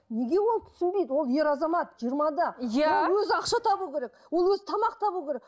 неге ол түсінбейді ол ер азамат жиырмада ол өзі ақша табу керек ол өзі тамақ табу керек